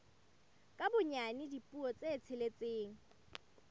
ka bonyane dipuo tse tsheletseng